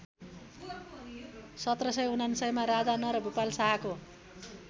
१७९९मा राजा नरभूपाल शाहको